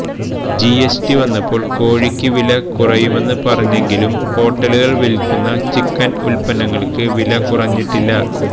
GST വന്നപ്പോള് കോഴിക്ക് വില കുറയുമെന്ന് പറഞ്ഞെങ്കിലും ഹോട്ടലുകള് വില്ക്കുന്ന ചിക്കന് ഉത്പന്നങ്ങള്ക്ക് വില കുറച്ചിട്ടില്ല